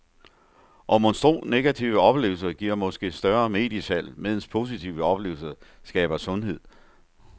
Og monstro, negative oplevelser giver måske større mediesalg, medens positive oplevelser skaber sundhed.